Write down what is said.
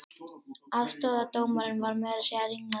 Aðstoðardómarinn var meira að segja ringlaður